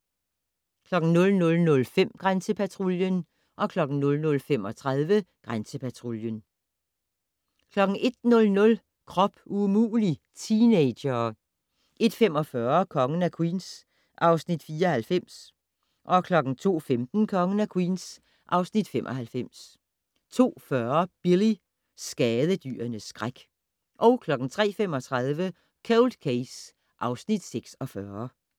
00:05: Grænsepatruljen 00:35: Grænsepatruljen 01:00: Krop umulig - teenagere 01:45: Kongen af Queens (Afs. 94) 02:15: Kongen af Queens (Afs. 95) 02:40: Billy - skadedyrenes skræk 03:35: Cold Case (Afs. 46)